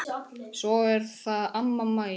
Svo er það amma Mæja.